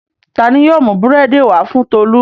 Ta ni yóò mú búrẹ́dì wá fún Tolú?